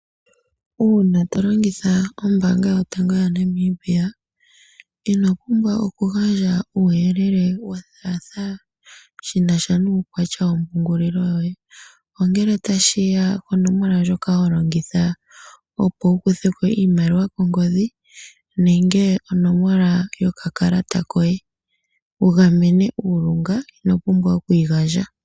Uuna tolongitha ombaanga yotango yaNamibia, ino pumbwa oku gandja uuyelele wothaatha shinasha nuukwatya wompungulilo yoye. Ngele tashiya konomola ndjoka holongitha opo wuku theko oshimaliwa kongodhi nenge onomola yokakalata koye, opo wugamene uulunga, ino pumbwa oku yi gandja.